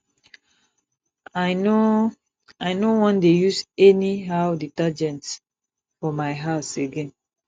i no i no wan dey use anyhow detergent for my house again